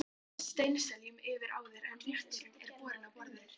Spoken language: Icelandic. Stráið steinseljunni yfir áður en rétturinn er borinn á borð.